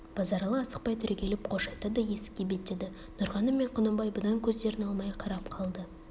базаралы асықпай түрегеліп қош айтты да есікке беттеді нұрғаным мен құнанбай бұдан көздерін алмай қарап қалды